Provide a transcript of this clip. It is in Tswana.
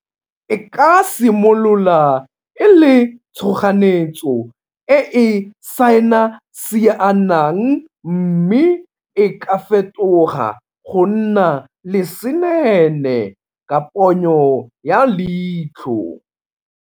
E ka simolola e le tshoganetso e e sainasianang mme e ka fetoga go nna lesenene ka ponyo ya leitlho.